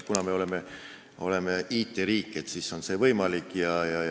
Kuna me oleme IT-riik, siis on see võimalik.